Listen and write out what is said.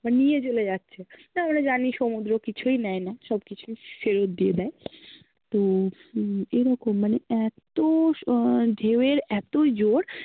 বা নিয়ে চ্লে যাচ্ছে তা আমরা জানি সমুদ্র কিছুই নেয় না, সব্কিছু ফেরোত দিয়ে দেয় তো হম এরকম, মানে এত আহ ঢেউ এর এত জোর